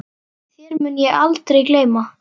Þér mun ég aldrei gleyma.